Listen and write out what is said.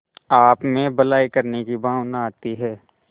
आपमें भलाई करने की भावना आती है